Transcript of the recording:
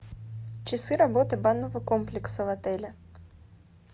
часы работы банного комплекса в отеле